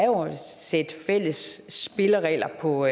jo er et sæt fælles spilleregler på